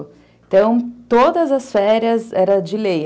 Então, todas as férias eram de lei.